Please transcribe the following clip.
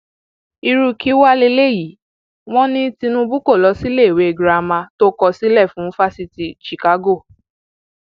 irú kí wàá lélẹyìí wọn ní tinubu kó lọ síléèwé girama tó kọ sílẹ fún fásitì chicago